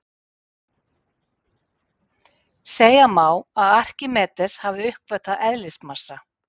segja má að arkímedes hafi uppgötvað eðlismassa